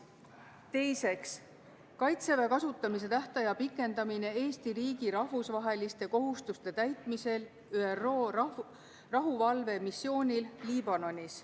Teiseks, Kaitseväe kasutamise tähtaja pikendamine Eesti riigi rahvusvaheliste kohustuste täitmisel ÜRO rahuvalvemissioonil Liibanonis.